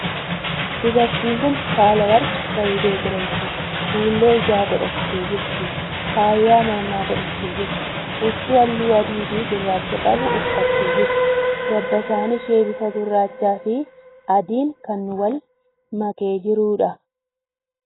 Dubartiin kuni Sahaalaworq Zawudee jedhamti. Fuullee ijaa godhattee jirti. Faaya mormaa godhattee jirti. Huccuu haalluu adii fii gurraacha qabu uffattee jirti. Dabbasaan ishee bifa gurraacha fii adiin kan wal makee jiruudha.